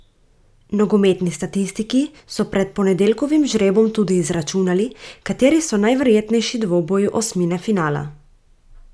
Nogometni statistiki so pred ponedeljkovim žrebom tudi izračunali, kateri so najverjetnejši dvoboji osmine finala.